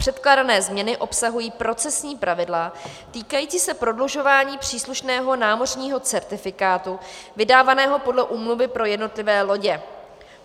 Předkládané změny obsahují procesní pravidla týkající se prodlužování příslušného námořního certifikátu vydávaného podle úmluvy pro jednotlivé lodě.